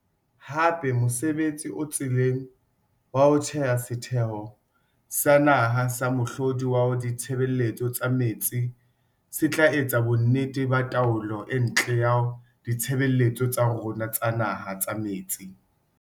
Hape mosebtsi o tseleng wa ho theha Setheho sa Naha sa Mohlodi wa Ditshebeletso tsa Metsi se tla etsa bonnete ba taolo e ntle ya ditshebeletso tsa rona tsa naha tsa metsi.